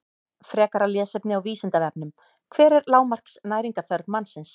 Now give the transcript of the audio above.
Frekara lesefni á Vísindavefnum: Hver er lágmarks næringarþörf mannsins?